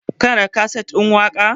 kana da kaset ɗin mawaka?